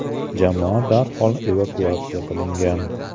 Jamoa darhol evakuatsiya qilingan.